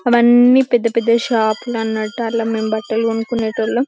అవన్నీ పెద్ద పెద్ద షాప్లన్నట్టు అక్కడ మెం బట్టలు కొనుకునేటోల్లం.